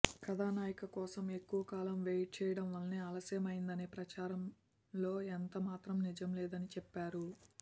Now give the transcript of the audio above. కథానాయిక కోసం ఎక్కువ కాలం వెయిట్ చేయడం వలన ఆలస్యమైందనే ప్రచారంలో ఎంతమాత్రం నిజం లేదని చెప్పారు